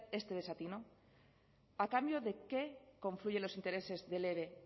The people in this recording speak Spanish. este desatino a cambio de qué confluyen los intereses del eve